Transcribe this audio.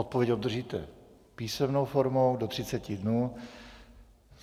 Odpověď obdržíte písemnou formou do 30 dnů.